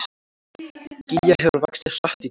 Gígja hefur vaxið hratt í dag